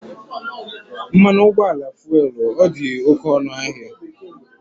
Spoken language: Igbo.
Mmanụ ụgbọala fuelu ọ dị oké ọnụ ahịa?